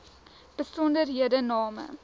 besonderhedename